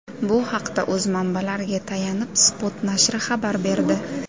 Bu haqda, o‘z manbalariga tayanib, Spot nashri xabar berdi .